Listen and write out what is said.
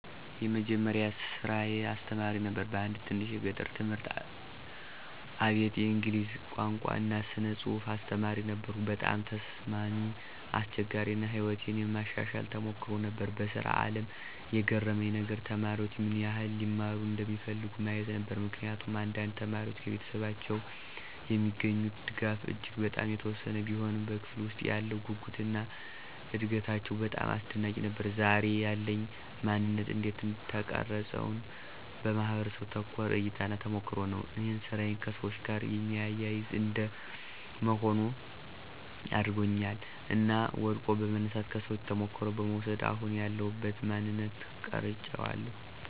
የመጀመሪያ ስራየ አስተማሪ ነበር በአንድ ትንሽ የገጠር ትምህርት አቤት የእንግሊዝ ቋንቋ እና ስነ ፅሐፍ አስተማሪ ነበርኩ። በጣም ተስማሚ፣ አስቸጋሪ አና ሕይወቴን የማሻሻል ተሞክሮ ነበር። በስራ አለም የገረመኝ ነገር?፦ተማሪዎች ምን ይህል (ሊማሩ) እንደሚፈልጉ ማየት ነበር። ምክንያቱም አንዳንድ ተማሪዎች ከቤተሰቦቻቸው የሚገኙት ድጋፍ እጂግ በጣም የተወሰነ ቢሆንም በክፍለ ውስጥ ያለው ጉጉትና እደጋታቸው በጣም አስደናቂ ነበር። ዛሬ ያለኝ ማነንት እንዴት ተቀረፀውን? በማህበረሰቡ ተኮር እይታና ተሞክሮ ነው እኔን ስራዬ ከሰዎች ጋር የሚያያዝ እንደ መሆን አድርጓኛል እና ወድቆ በመነሳት፣ ከሰዎቹ ተሞክሮ በመውስድ አሁን ያለውበትን ማንነት ቀራጨዋለሁ።